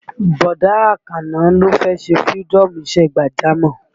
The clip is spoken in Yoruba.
Bọ̀dá Àkànó ló fẹ́ ṣe fïrídọ́ọ̀mù isẹ́ gbàjámọ̀